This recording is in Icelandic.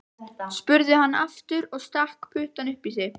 spurði hann aftur og stakk puttanum upp í sig.